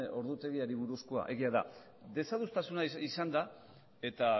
ordutegiari buruzkoa da egia da desadostasuna izan da eta